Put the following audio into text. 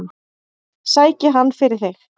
Sæki hann fyrir þig.